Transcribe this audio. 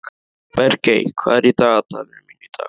Bergey, hvað er í dagatalinu mínu í dag?